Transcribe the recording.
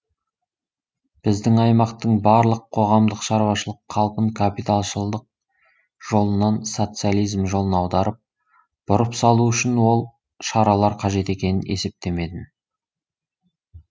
біздің аймақтың барлық қоғамдық шаруашылық қалпын капиталшылдық жолынан социализм жолына аударып бұрып салу үшін ол шаралар қажет екенін есептемедім